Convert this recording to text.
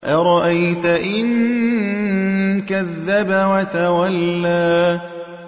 أَرَأَيْتَ إِن كَذَّبَ وَتَوَلَّىٰ